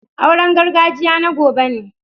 Auren gargajiya na gobe ne.